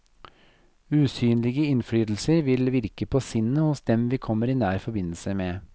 Usynlige innflytelser vil virke på sinnet hos dem vi kommer i nær forbindelse med.